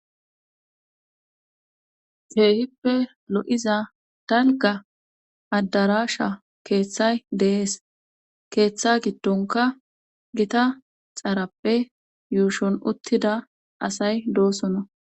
Keehippe lo7iza dalka addarasha keeththay deees keeththa giddonka gita xaarappe yuushon uttida asay doosona.